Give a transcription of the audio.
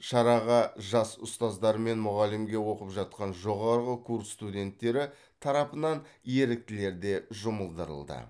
шараға жас ұстаздар мен мұғалімге оқып жатқан жоғары курс студенттері тарапынан еріктілер де жұмылдырылды